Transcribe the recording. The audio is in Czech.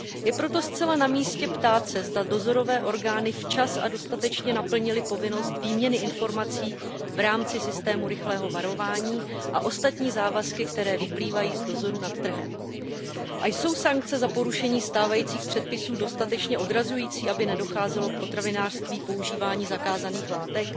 Je proto zcela na místě ptát se, zda dozorové orgány včas a dostatečně naplnily povinnost výměny informací v rámci systému rychlého varování a ostatní závazky, které vyplývají z dozoru nad trhem. Jsou sankce za porušení stávajících předpisů dostatečně odrazující, aby nedocházelo v potravinářství k používání zakázaných látek?